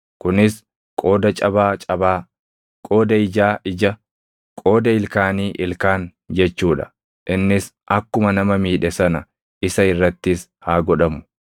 kunis qooda cabaa cabaa, qooda ijaa ija, qooda ilkaanii ilkaan jechuu dha. Innis akkuma nama miidhe sana isa irrattis haa godhamu.